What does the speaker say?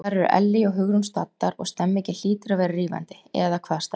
Þar eru Ellý og Hugrún staddar og stemningin hlýtur að vera rífandi eða hvað, stelpur?